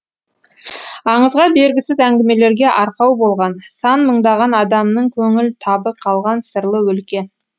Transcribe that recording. аңызға бергісіз әңгімелерге арқау болған сан мыңдаған адамның көңіл табы қалған сырлы өлке